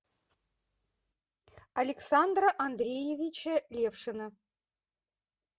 александра андреевича левшина